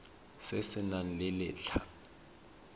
se se nang le letlha